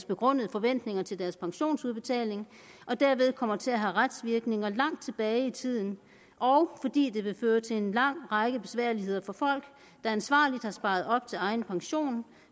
begrundede forventninger til deres pensionsudbetaling og derved kommer til at have retsvirkninger langt tilbage i tiden og fordi det vil føre til en lang række besværligheder for folk der ansvarligt har sparet op til egen pension